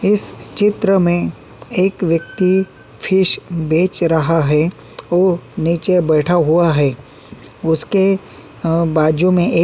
इस चित्र में एक व्यक्ति फिश बेच रहा है ओ नीचे बैठा हुआ है उसके अ बाजू में एक --